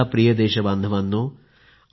माझ्या प्रिय देशबांधवांनो